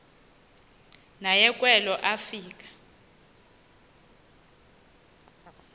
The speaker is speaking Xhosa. naye kwelo afika